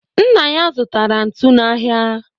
Nna ya zụtara ntu n'ahịa